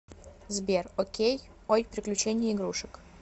сбер окей ой приключения игрушек